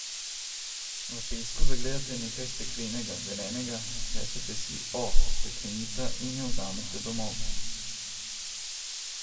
V pesku zagledate nekaj steklenega, zelenega, rečete si, o, steklenica, in jo vzamete domov.